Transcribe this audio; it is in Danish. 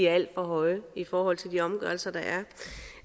alt for høje i forhold til de omgørelser der